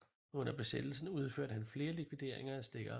Under Besættelsen udførte han flere likvideringer af stikkere